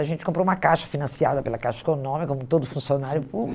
A gente comprou uma caixa financiada pela Caixa Econômica, como todo funcionário